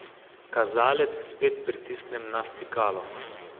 Kazalec spet pritisnem na stikalo.